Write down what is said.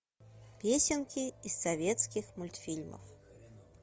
песенки из советских мультфильмов